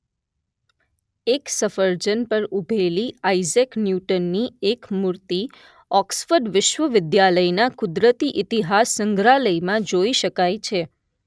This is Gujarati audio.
એક સફરજન પર ઊભેલી આઇઝેક ન્યૂટનની એક મૂર્તિ ઑક્સફોર્ડ વિશ્વવિદ્યાલયના કુદરતી ઇતિહાસ સંગ્રહાલયમાં જોઈ શકાય છે